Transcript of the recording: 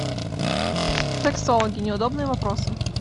сексологи неудобные вопросы